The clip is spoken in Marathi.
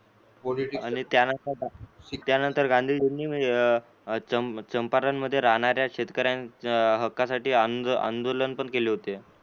आणि त्यानंतर त्यानंतर गांधीजिनी चंपा चांपारन मध्ये राहणाऱ्या शेतकऱ्या हककसाठी आंदो आंदोलन केले होते.